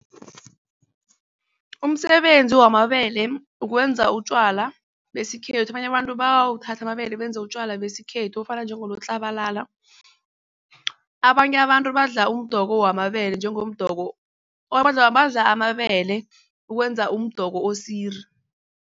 Umsebenzi wamabele ukwenza utjwala besikhethu abanye abantu bawuthathe amabele benze utjwala besikhethu ofana njengonotlabalala. Abanye abantu badla umdoko wamabele njengomdoko badla amabele ukwenza umdoko osiri.